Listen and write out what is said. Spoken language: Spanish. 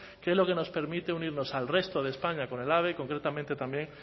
que es lo que nos permite unirnos al resto de españa con el ave y concretamente también